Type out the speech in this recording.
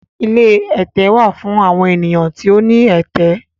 Ilé ẹtẹ wà fún awọn ènìyàn tí o ní ẹtẹ